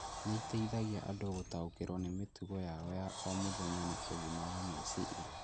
nĩ iteithagia andũ gũtaũkĩrũo nĩ mĩtugo yao ya o mũthenya na ũgima wa meciria.